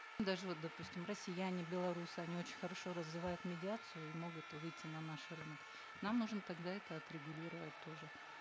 даже вот допустим россияне беларусы они очень хорошо развивают медиацию и могут выйти на наш рынок нам нужно тогда это отрегулировать тоже